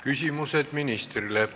Küsimused ministrile.